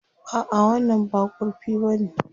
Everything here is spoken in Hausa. A'a, wannan ba kurfi bane.